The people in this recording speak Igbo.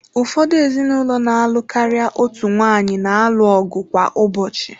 Ụfọdụ ezinụlọ na-alụ karịa otu nwaanyị na-alụ ọgụ kwa ụbọchị.